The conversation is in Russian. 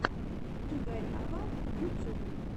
игорява ютюб